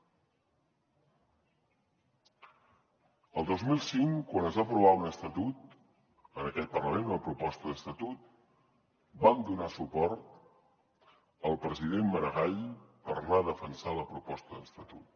el dos mil cinc quan es va aprovar un estatut en aquest parlament una proposta d’estatut vam donar suport al president maragall per anar a defensar la proposta d’estatut